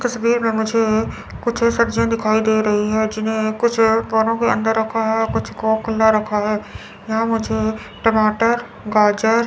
तस्वीर में मुझे कुछ सब्जियां दिखाई दे रही हैं जिन्हें कुछ पौनों के अंदर रखा है कुछ को खुला रखा है यहां मुझे टमाटर गाजर।